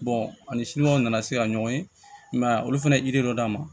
ani nana se ka ɲɔgɔn ye i ma ye a olu fɛnɛ ye dɔ d'a ma